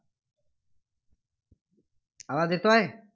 आवाज येतोय?